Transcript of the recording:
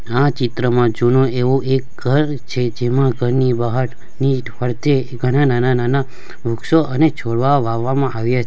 આ ચિત્રમાં જૂનો એવો એક ઘર છે જેમાં ઘરની બહારની ફરતે ઘણા નાના-નાના વૃક્ષો અને છોડવા વાવવામાં આવ્યા --